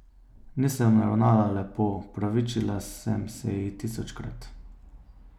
Nisem ravnala lepo, opravičila sem se ji tisočkrat.